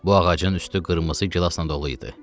Bu ağacın üstü qırmızı gilasla dolu idi.